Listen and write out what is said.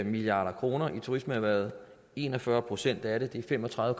milliard kroner i turismeerhvervet en og fyrre procent af det det er fem og tredive